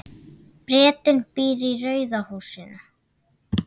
Bretinn býr í rauða húsinu.